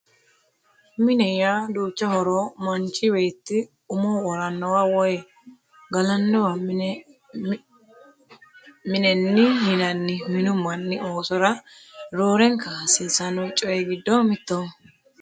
Mine yaa duucha horo aano manchi beetti umo woranowa woye galanowa minehi yinanni Minu mannu oosora roorenka hasiisanno coyee giddo mittoho